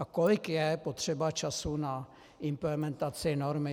A kolik je potřeba času na implementaci normy?